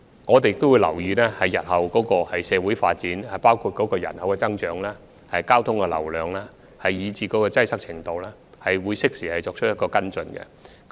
我們也會留意日後的社會發展，包括人口增長、交通流量和擠塞程度，適時作出跟進。